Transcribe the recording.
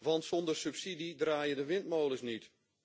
Want zonder subsidie draaien de windmolens niet.